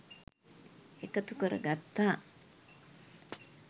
එකතු කර ගත්තා